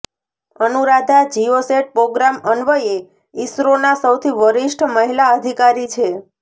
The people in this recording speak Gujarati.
અનુરાધા જિયોસેટ પ્રોગ્રામ અન્વયે ઈસરોના સૌથી વરિષ્ઠ મહિલા અધિકારી છે